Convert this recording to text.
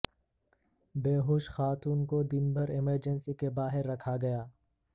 بےہوش خاتون کو دن بھر ایمرجنسی کے باہر رکھا گیا